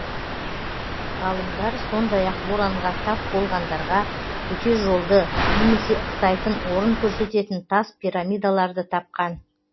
ғалымдар сондай ақ боранға тап болғандарға төте жолды немесе ықтайтын орын көрсететін тас пирамидаларды тапқан